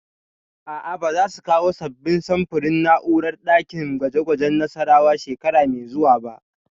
A'a, ba za su kawo sabbin samfurin na'urori a ɗakin gwaje gwajen Nassarawa shekara mai zuwa ba